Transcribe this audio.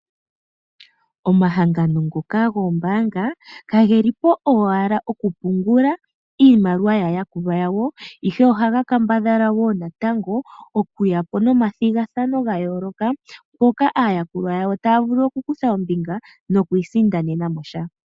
Omahangano ngoka goombaanga kageli po owala okupungula iimaliwa yaayakulwa yawo. Ihe ohaga kambadhala woo natango okuya po nomathigathano gayooloka mpoka aayakulwa yawo taya vulu oku kutha ombinga nokwiisindanena mo sha.